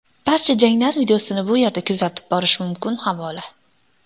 Barcha janglar videosini bu yerda kuzatib borish mumkin havola .